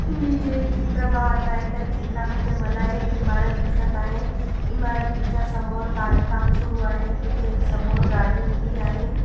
मी जे चित्र पाहत आहे त्या चित्रामध्ये मला एक इमारत दिसत आहे इमारतीच्या समोर बांध काम सुरू आहे तिथे एक समोर गाडी उभी आहे.